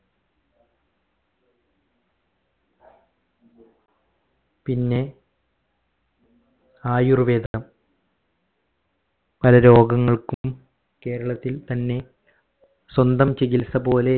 പിന്നെ ആയുർവേദം പല രോഗങ്ങൾക്കും കേരളത്തിൽ തന്നെ സ്വന്തം ചികിത്സപോലെ